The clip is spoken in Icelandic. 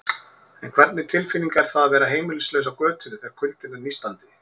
En hvernig tilfinning er það að vera heimilislaus á götunni, þegar kuldinn er nístandi?